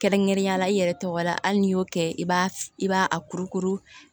Kɛrɛnkɛrɛnnenya la i yɛrɛ tɔgɔ la hali n'i y'o kɛ i b'a i b'a a kurukuru